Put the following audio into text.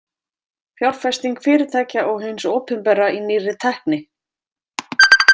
Fjárfesting fyrirtækja og hins opinbera í nýrri tækni.